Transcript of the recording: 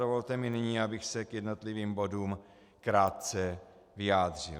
Dovolte mi nyní, abych se k jednotlivým bodům krátce vyjádřil.